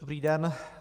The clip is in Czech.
Dobrý den.